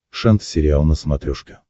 шант сериал на смотрешке